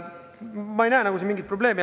Ma ei näe siin mingisugust probleemi.